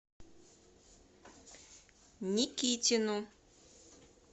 никитину